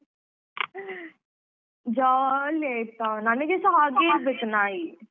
Jolly ಆಯ್ತಾ ನನ್ನಗೆಸ ಹಾಗೆ ಇರ್ಬೆಕ್ ನಾಯಿ.